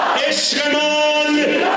Eşqimiz İran!